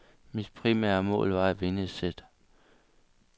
Mit primære mål var at vinde et sæt.